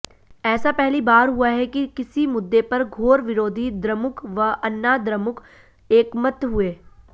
ऐसा पहली बार हुआ कि किसी मुद्दे पर घोर विरोधी द्रमुक व अन्नाद्रमुक एकमत हुए